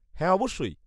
-হ্যাঁ, অবশ্যই।